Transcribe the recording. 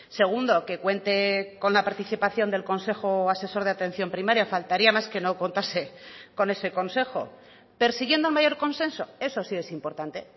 segundo que cuente con la participación del consejo asesor de atención primaria faltaría más que no contase con ese consejo persiguiendo mayor consenso eso sí es importante